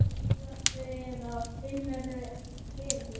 Sérðu það hérna eða finnurðu fyrir því?